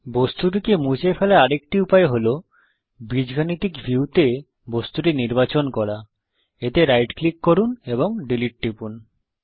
বস্তুটিকে মুছে ফেলার আরেকটি উপায় হল বীজগাণিতিকএলজেব্রাভিউতে বস্তুটি নির্বাচন করা এতে রাইট ক্লিক করুন এবং ডিলীট টিপুন